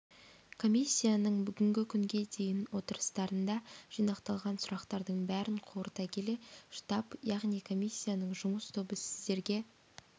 комиссияның бүгінгі күнге дейін отырыстарында жинақталған сұрақтардың бәрін қорыта келе штаб яғни комиссияның жұмыс тобы сіздерге